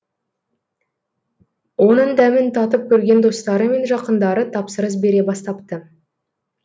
оның дәмін татып көрген достары мен жақындары тапсырыс бере бастапты